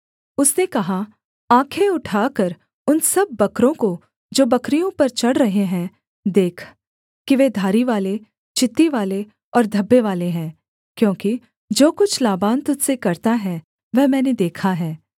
उसने कहा आँखें उठाकर उन सब बकरों को जो बकरियों पर चढ़ रहे हैं देख कि वे धारीवाले चित्तीवाले और धब्बेवाले हैं क्योंकि जो कुछ लाबान तुझ से करता है वह मैंने देखा है